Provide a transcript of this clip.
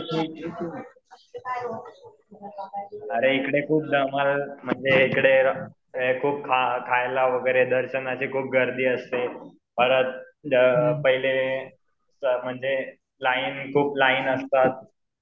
अरे इकडे खूप धमाल म्हणजे इकडे खूप खायला वगैरे दर्शनाची खूप गर्दी असते. परत पहिले म्हणजे लाईन खूप लाईन असतात.